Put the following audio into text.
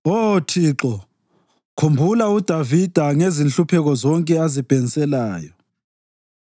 Oh Thixo, khumbula uDavida ngezinhlupheko zonke azibhenselayo.